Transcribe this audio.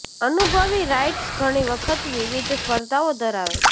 અનુભવી રાઇડર્સ ઘણી વખત વિવિધ સ્પર્ધાઓ ધરાવે છે